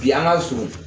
Bi an ka surun